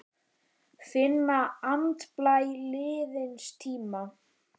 Finna andblæ liðins tíma.